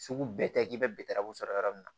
Sugu bɛɛ tɛ k'i bɛ sɔrɔ yɔrɔ min na